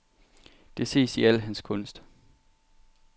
Det ses i al hans kunst.